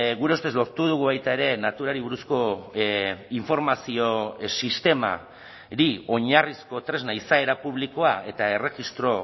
gure ustez lortu dugu baita ere naturari buruzko informazio sistemari oinarrizko tresna izaera publikoa eta erregistro